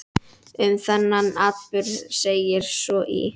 Um þann atburð segir svo í